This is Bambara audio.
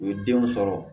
U ye denw sɔrɔ